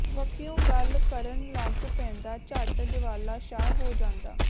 ਵੱਖੀਉਂ ਗੱਲ ਕਰਨ ਲਗ ਪੈਂਦਾ ਝੱਟ ਜਵਾਲਾ ਸ਼ਾਹ ਹੋ ਜਾਂਦਾ